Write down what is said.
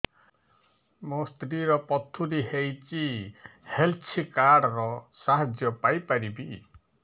ମୋ ସ୍ତ୍ରୀ ର ପଥୁରୀ ହେଇଚି ହେଲ୍ଥ କାର୍ଡ ର ସାହାଯ୍ୟ ପାଇପାରିବି